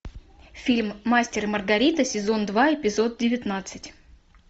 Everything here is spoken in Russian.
фильм мастер и маргарита сезон два эпизод девятнадцать